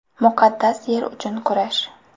Muqaddas yer uchun kurash.